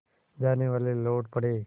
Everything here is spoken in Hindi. जानेवाले लौट पड़े